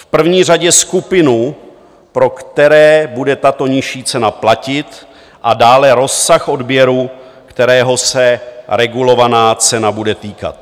V první řadě skupinu, pro kterou bude tato nižší cena platit, a dále rozsah odběru, kterého se regulovaná cena bude týkat.